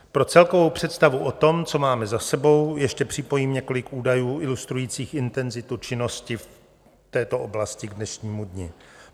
Pro celkovou představu o tom, co máme za sebou, ještě připojím několik údajů ilustrujících intenzitu činnosti v této oblasti k dnešnímu dni.